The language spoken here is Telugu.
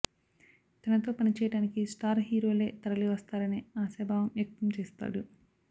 తనతో పని చేయడానికి స్టార్ హీరోలే తరలి వస్త్రారనే ఆశాభావం వ్యక్తం చేస్తాడు